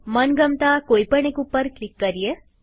મનગમતા કોઈ પણ એક ઉપર ક્લિક કરીએ